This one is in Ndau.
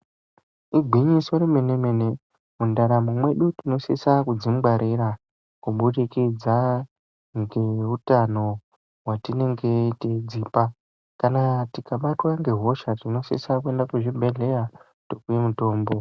Igwinyiso remene-mene mundaramo mwedu tinosise kudzingwarira, kubudikidza ngeutano hwetinenge teidzipa. Kana tikabatwa ngehosha, tinosise kuenda kuchibhedhlera topuwa mutombo.